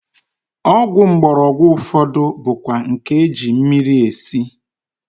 Ọgwụ mgbọrọgwụ ụfọdụ bụkwa nke e ji mmiri esi